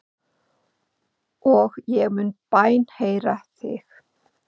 Og ég mun bænheyra þig.